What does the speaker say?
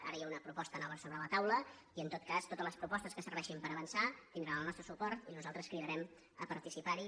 ara hi ha una proposta nova sobre la taula i en tot cas totes les propostes que serveixin per avançar tindran el nostre suport i nosaltres cridarem a partici·par·hi